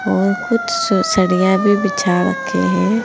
और कुछ सरिया भी बिछा रखे हैं।